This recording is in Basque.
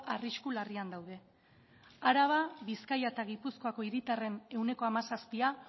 arrisku larrian daude araba bizkaia eta gipuzkoako hiritarren ehuneko hamazazpia